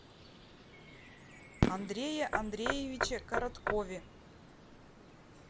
андрее андреевиче короткове